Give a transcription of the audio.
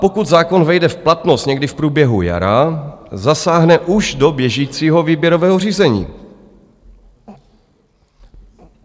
Pokud zákon vejde v platnost někdy v průběhu jara, zasáhne už do běžícího výběrového řízení.